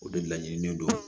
O de laɲininen don